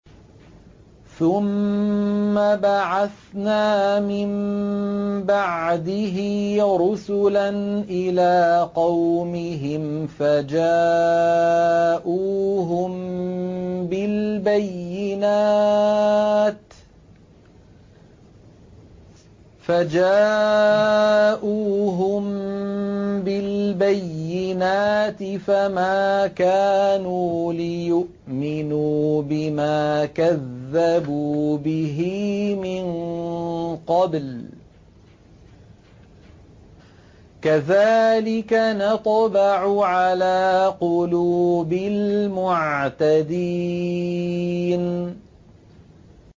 ثُمَّ بَعَثْنَا مِن بَعْدِهِ رُسُلًا إِلَىٰ قَوْمِهِمْ فَجَاءُوهُم بِالْبَيِّنَاتِ فَمَا كَانُوا لِيُؤْمِنُوا بِمَا كَذَّبُوا بِهِ مِن قَبْلُ ۚ كَذَٰلِكَ نَطْبَعُ عَلَىٰ قُلُوبِ الْمُعْتَدِينَ